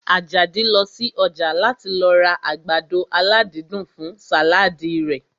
Àjàdí lọ sí ọjà láti lọ ra àgbàdo aládídùn fún sàládì rẹ̀